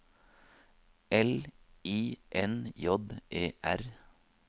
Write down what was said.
L I N J E R